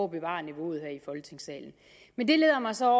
bevare niveauet her i folketingssalen men det leder mig så